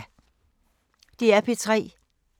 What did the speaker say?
DR P3